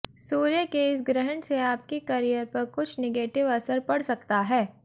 सूर्य के इस ग्रहण से आपके करियर पर कुछ निगेटिव असर पड़ सकता है